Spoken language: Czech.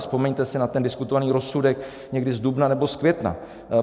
Vzpomeňte si na ten diskutovaný rozsudek někdy z dubna nebo z května.